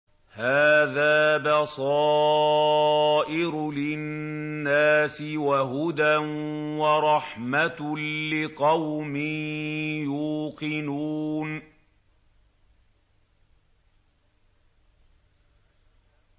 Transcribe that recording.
هَٰذَا بَصَائِرُ لِلنَّاسِ وَهُدًى وَرَحْمَةٌ لِّقَوْمٍ يُوقِنُونَ